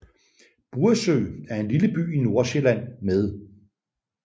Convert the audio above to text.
Buresø er en lille by i Nordsjælland med